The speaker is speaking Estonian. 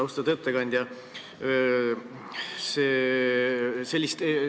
Austatud ettekandja!